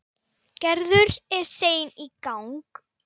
Gerður er sein í gang.